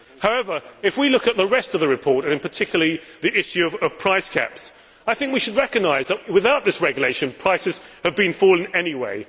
However, if we look at the rest of the report, and particularly the issue of price caps, I think we should recognise that, without this regulation, prices have been falling anyway.